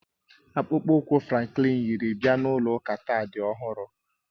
Akpụkpọ ụkwụ Franklin yiri bịa ụlọ ụka taa dị ọhụrụ